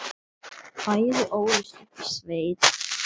Bæði ólust upp í sveit.